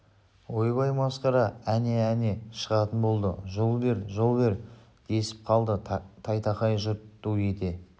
ойбай масқара әне әне шығатын болды жол бер жол бер десіп қалды тайтақай жұрт ду ете